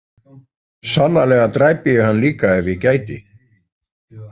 Sannarlega dræpi ég hann líka ef ég gæti.